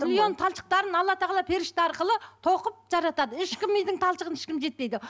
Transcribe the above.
миллион талшықтарын алла тағала періште арқылы тоқып жаратады ешкім мидың талшығына ешкім жетпейді